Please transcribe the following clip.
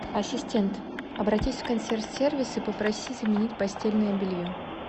ассистент обратись в консьерж сервис и попроси заменить постельное белье